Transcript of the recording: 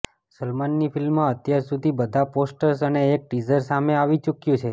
સલમાનની ફિલ્મના અત્યાર સુધી બધા પોસ્ટર્સ અને એક ટીઝર સામે આવી ચૂક્યું છે